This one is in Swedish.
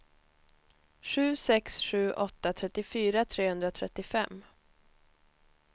sju sex sju åtta trettiofyra trehundratrettiofem